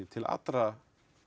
til allra